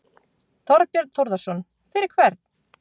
Þorbjörn Þórðarson: Fyrir hvern?